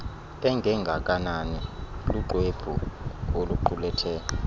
engengakanani luxwebhu oluqulethe